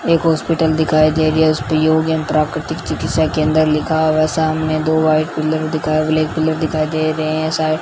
एक हॉस्पिटल दिखाई दे रही है उसपे यूनियन प्राकृतिक चिकित्सा केंद्र लिखा हुआ है सामने दो व्हाइट पिलर दिखा ब्लैक पिलर दिखाई दे रहे है साइड --